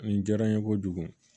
Nin diyara n ye kojugu